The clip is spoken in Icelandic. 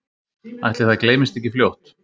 Ætli það gleymist ekki fljótt